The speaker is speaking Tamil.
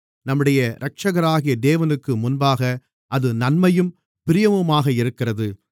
நம்முடைய இரட்சகராகிய தேவனுக்குமுன்பாக அது நன்மையும் பிரியமுமாக இருக்கிறது